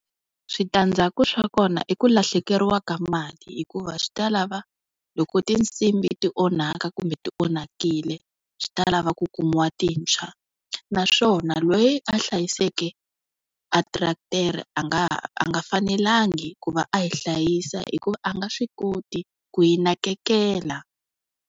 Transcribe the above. Switandzhaku swa kona i ku lahlekeriwaka mali hikuva swi ta lava loko tinsimbhi ti onhaka, kumbe ti onhakile swi ta lava ku kumiwa tintshwa, naswona loyi a hlayiseke a teretere a nga ha a nga fanelangi ku va a yi hlayisa hi ku a nga swi koti ku yi nanekela.